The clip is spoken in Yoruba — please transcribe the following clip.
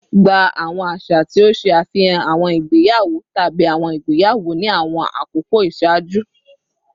Gba awọn aṣa ti o ṣe afihan awọn igbeyawo tabi awọn igbeyawo ni awọn akoko iṣaaju